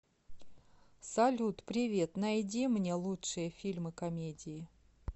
салют привет найди мне лучшие фильмы комедии